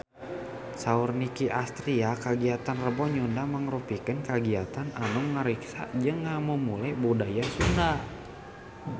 Saur Nicky Astria kagiatan Rebo Nyunda mangrupikeun kagiatan anu ngariksa jeung ngamumule budaya Sunda